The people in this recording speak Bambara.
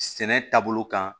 Sɛnɛ taabolo kan